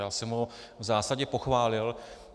Já jsem ho v zásadě pochválil.